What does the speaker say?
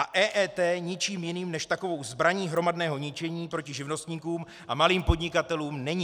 A EET ničím jiným než takovou zbraní hromadného ničení proti živnostníkům a malým podnikatelům není.